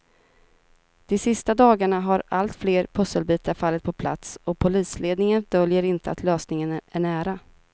De sista dagarna har allt fler pusselbitar fallit på plats och polisledningen döljer inte att lösningen är nära.